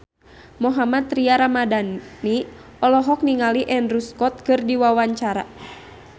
Mohammad Tria Ramadhani olohok ningali Andrew Scott keur diwawancara